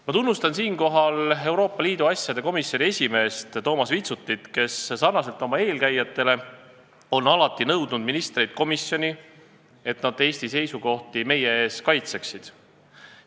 Ma tunnustan siinkohal Euroopa Liidu asjade komisjoni esimeest Toomas Vitsutit, kes sarnaselt oma eelkäijatega on alati nõudnud ministrite tulekut komisjoni, et nad Eesti seisukohti meie ees kaitseksid.